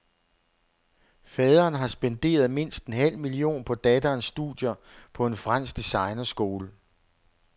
Faderen har spenderet mindst en halv million på datterens studier på en fransk designerskole.